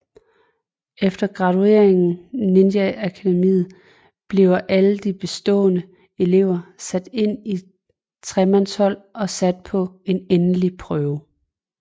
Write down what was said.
Efter gradueringen ninjaakademiet bliver alle de beståede elever sat ind i tremandshold og sat på en endelig prøve